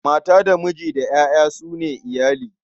Mata da miji da ƴaƴa su ne iyali.